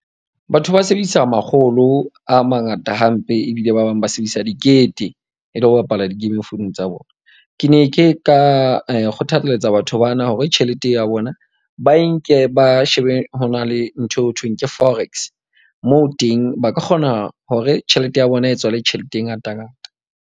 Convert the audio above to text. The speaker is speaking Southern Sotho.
Batho ba sebedisa makgolo a mangata hampe ebile ba bang ba sebedisa dikete. E le ho bapala di-game founung tsa bona. Ke ne ke ka kgothaletsa batho bana hore tjhelete e ya bona ba e nke ba shebe ho na le ntho eo thweng ke forex, moo teng ba ka kgona hore tjhelete ya bona e tswale tjhelete e ngata ngata.